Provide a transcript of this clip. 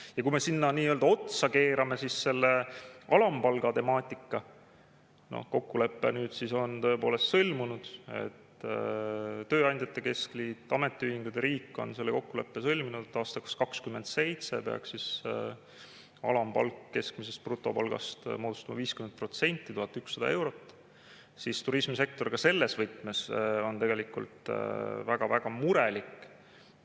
Ja kui me sinna otsa keerame selle alampalga temaatika – kokkulepe on nüüd tõepoolest sõlmunud, tööandjate keskliit, ametiühingud ja riik on selle kokkuleppe sõlminud, et aastaks 2027 peaks alampalk keskmisest brutopalgast moodustama 50% ehk olema 1100 eurot –, siis turismisektor ka selles võtmes on tegelikult väga-väga murelik.